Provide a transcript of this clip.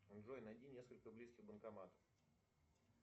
джой найди несколько близких банкоматов